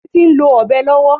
Títí ń lo Ọ̀bẹ lọ́wọ́